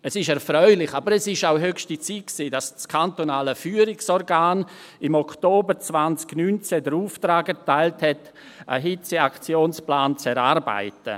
Es ist erfreulich, aber es war auch höchste Zeit, dass das KFO im Oktober 2019 den Auftrag erteilt hat, einen Hitzeaktionsplan zu erarbeiten.